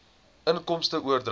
inkomste oordragte